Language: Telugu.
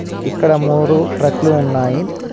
ఇక్కడ మూరు ట్రక్లు ఉన్నాయి.